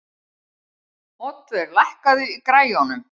Oddvör, lækkaðu í græjunum.